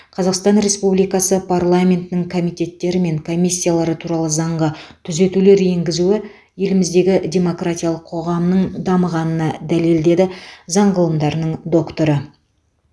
қазақстан республикасы парламентінің комитеттері мен комиссиялары туралы заңға түзетулер енгізуі еліміздегі демократиялық қоғамның дамығанына дәлел деді заң ғылымдарының докторы